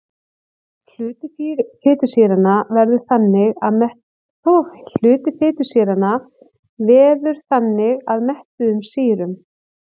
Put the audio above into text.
Hluti fitusýranna veður þannig að mettuðum sýrum.